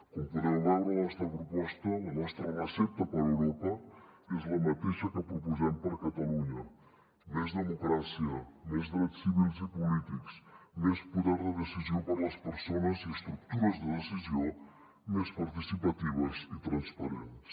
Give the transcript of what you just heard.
com podeu veure la nostra proposta la nostra recepta per a europa és la mateixa que proposem per a catalunya més democràcia més drets civils i polítics més poder de decisió per a les persones i estructures de decisió més participatives i transparents